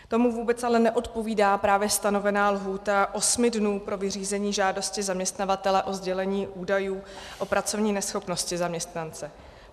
Tomu vůbec ale neodpovídá právě stanovená lhůta osmi dnů pro vyřízení žádosti zaměstnavatele o sdělení údajů o pracovní neschopnosti zaměstnance.